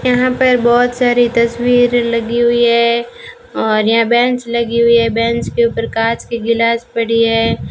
यहां पर बहोत सारी तस्वीर लगी हुई है और यहां बेंच लगी हुई है बेंच के ऊपर कांच की गिलास पड़ी है।